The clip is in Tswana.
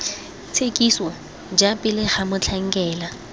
tshekiso ja pele ga motlhankela